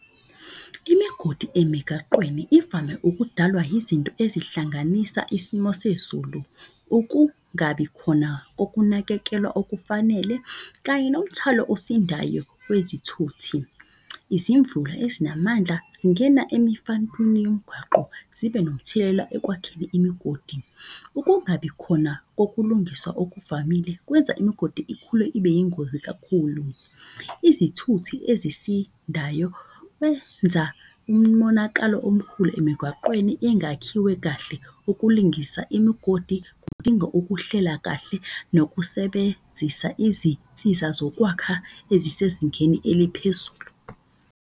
Imigodi emigaqweni ivame ukudalwa yizinto ezihlanganisa isimo sezulu. Ukungabi khona kokunakekelwa okufanele kanye nomthalo osindayo wezithuthi. Izimvula ezinamandla zingena emifantwini yomgwaqo zibe nomthelela ekwakheni imigodi. Ukungabi khona kokulungiswa okuvamile kwenza imigodi ikhule ibe yingozi kakhulu. Izithuthi ezisindayo wenza umonakalo omkhulu emigwaqweni engakhiwe kahle. Ukulingisa imigodi kudinga ukuhlela kahle nokusebenzisa izinsiza zokwakha ezisezingeni eliphezulu.